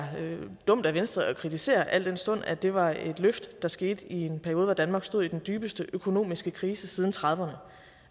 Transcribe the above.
dumt af venstre at kritisere al den stund at det var et løft der skete i en periode hvor danmark stod i den dybeste økonomiske krise siden nitten trediverne